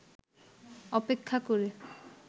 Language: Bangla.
অপেক্ষা করে